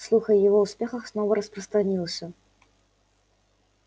слух о его успехах снова распространился